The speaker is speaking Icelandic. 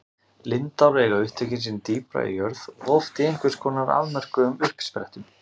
Lindár eiga upptök sín dýpra í jörð, oft í einhvers konar afmörkuðum uppsprettum.